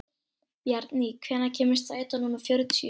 Bjarný, hvenær kemur strætó númer fjörutíu?